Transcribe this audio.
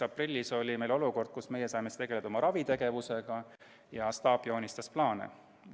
Aprillis oli meil olukord, kus meie saime tegeleda raviga ja staap joonistas plaane.